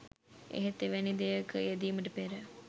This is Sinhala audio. එහෙත් එවැනි දෙයක යෙදීමට පෙර